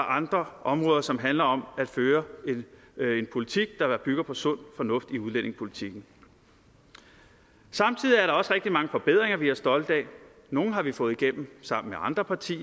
andre områder som handler om at føre en politik der bygger på sund fornuft i udlændingepolitikken samtidig er der også rigtig mange forbedringer vi er stolte af nogle har vi fået igennem sammen med andre partier